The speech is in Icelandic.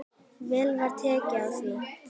Vel var tekið í það.